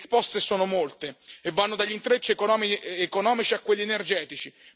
Le risposte sono molte e vanno dagli intrecci economici a quelli energetici.